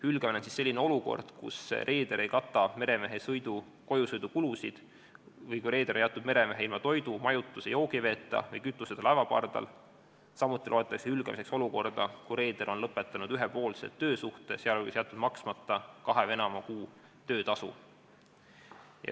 Hülgamine on selline olukord, kus reeder ei kata meremehe kojusõidukulusid või reeder on jätnud meremehe ilma toidu, majutuse ja joogiveeta või kütuseta laevapardale, samuti loetakse hülgamiseks olukorda, kus reeder on lõpetanud ühepoolselt töösuhte, sh jätnud maksmata kahe või enama kuu töötasu.